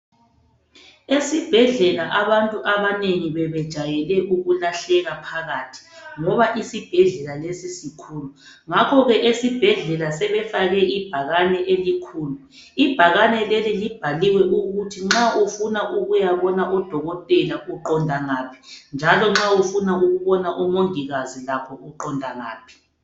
Esibhedlela abantu abanengi bebejwayele ukulahleka phakathi ngoba isibhedlela lesi sikhulu. Ngakho-ke esibhedlela sebefake ibhakane elikhulu. Ibhakane leli libhaliwe ukuthi nxa ufuna ukuyabona udokotela uqonda ngaphi, njalo nxa ufuna ukubona omongikazi lakho uqonda ngaphi.